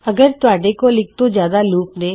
ਅਗਰ ਤੁਹਾਡੇ ਕੋਲ ਇੱਕ ਤੋਂ ਜਿਆਦਾ ਲੂਪ ਨੇ